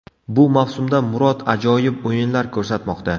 Bu mavsumda Murod ajoyib o‘yinlar ko‘rsatmoqda.